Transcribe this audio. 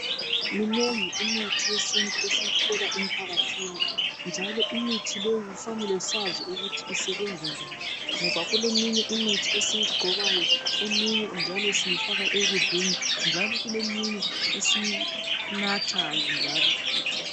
Minengi imithi yesintu esiyithola emphakathini, njalo imithi leyo kufanele sazi ukuthi isebenza njani, ngoba kuleminye imithi esiyigcobayo, njalo eminye siyifaka ekudleni njalo kuleminye esiyinathayo njalo futhi.